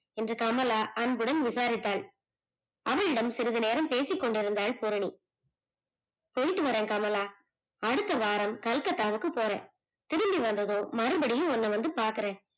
என்று கமலா அன்புடன் விசாரித்தால் அவளிடம் சிறிது நேரம் பேசிக்கொண்டிருந்தால் பூரணி போய்ட்டு வரேன் கமலா அடுத்த வாரம் Calcutta க்கு போறேன் திரும்பி வந்ததும் மறுபடியும் உண்ண வந்து பாக்குறேன்.